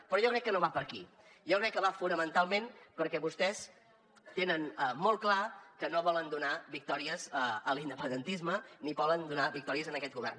però jo crec que no va per aquí jo crec que va fonamentalment perquè vostès tenen molt clar que no volen donar victòries a l’independentisme ni volen donar victòries a aquest govern